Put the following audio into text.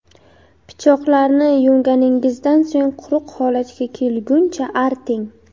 Pichoqlarni yuvganingizdan so‘ng quruq holatga kelguncha arting.